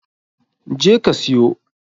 Je ka siyo!